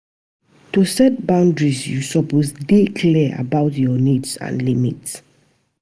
To set boundaries, yu suppose dey clear about yur nids and limits.